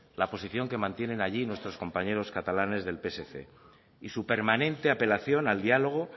la posición que mantienen allí nuestros compañeros catalanes del psc y su permanente apelación al diálogo